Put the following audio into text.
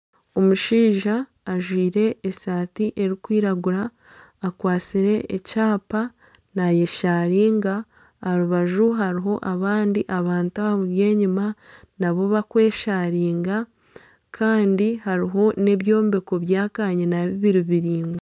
Omushaija ajwire esati erikwiragura akwatsire ekyapa nayesharinga aha rubaju hariho abandi abantu abamuri enyuma nabo bakwesharinga Kandi hariho n'ebyombeko bya kanyina bibiri biraingwa.